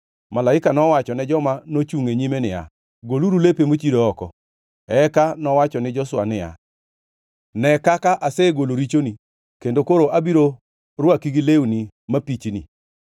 Malaika nowachone joma nochungʼ e nyime niya, “Goluru lepe mochido oko.” Eka nowacho ni Joshua niya, “Ne kaka, asegolo richoni, kendo koro abiro rwaki gi lewni mapichni.”